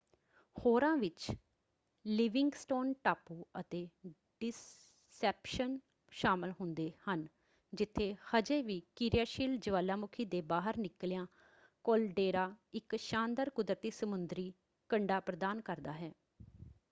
ਹੋਰਾਂ ਵਿੱਚ ਲਿਵਿੰਗਸਟੋਨ ਟਾਪੂ ਅਤੇ ਡਿਸੈਪਸ਼ਨ ਸ਼ਾਮਲ ਹੁੰਦੇ ਹਨ ਜਿੱਥੇ ਹਜੇ ਵੀ ਕਿਰਿਆਸ਼ੀਲ ਜੁਆਲਾਮੁਖੀ ਦੇ ਬਾਹਰ ਨਿਕਲਿਆ ਕਾਲਡੇਰਾ ਇੱਕ ਸ਼ਾਨਦਾਰ ਕੁਦਰਤੀ ਸਮੁੰਦਰੀ ਕੰਢਾ ਪ੍ਰਦਾਨ ਕਰਦਾ ਹੈ।